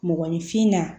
Mɔgɔninfin na